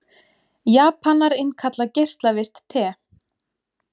Japanar innkalla geislavirkt te